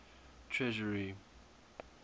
treasury